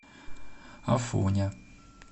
афоня